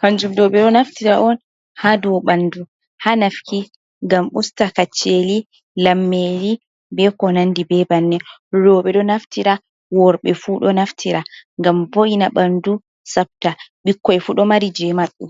kanjum ɗo ɓeɗo naftira on ha dow ɓandu, ha nafki ngam usta kacceli, lammeli be ko nandi be banni. roɓe ɗo naftira worbe fu ɗo naftira. ngam vo'ina ɓandu sabta ɓikkoi fu ɗo mari je maɓɓe.